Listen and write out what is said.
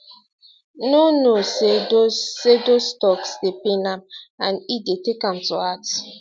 no no say those say those toks dey pain am and e dey take am to heart